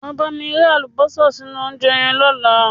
Wá bámi rẹ́ àlùbọ́sà sínú óúnjẹ yẹn dáadáa.